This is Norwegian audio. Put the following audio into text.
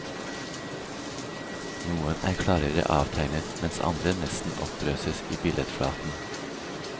Noen er klarere avtegnet, mens andre nesten oppløses i billedflaten.